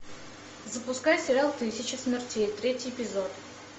запускай сериал тысяча смертей третий эпизод